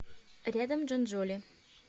рядом джонджоли